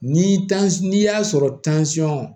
Ni n'i y'a sɔrɔ